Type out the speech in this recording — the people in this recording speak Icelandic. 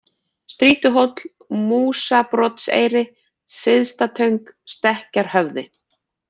Strýtuhóll, Músabrotseyri, Syðstatöng, Stekkjarhöfði